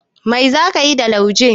Mai za ka yi da lauje?